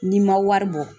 N'i ma wari bɔ